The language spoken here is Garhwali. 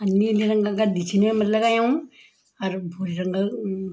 अर नीले रंगा गद्दी छिन येमा लगायुँ अर भुरि रंग अ।